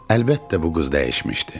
Əlbəttə bu qız dəyişmişdi.